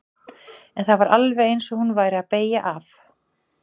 En það var alveg eins og hún væri að beygja af.